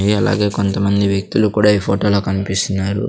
ఇ అలాగే కొంతమంది వ్యక్తులు కూడా ఈ ఫోటోలో కన్పిస్తున్నారు.